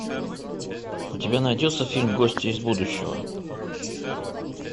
у тебя найдется фильм гостья из будущего